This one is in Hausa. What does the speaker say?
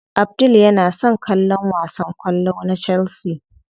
Abdul yana son kallon wasan kwallo na chelsea.